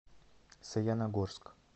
саяногорск